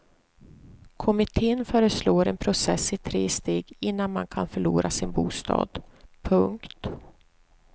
Kommittén föreslår en process i tre steg innan man kan förlora sin bostad. punkt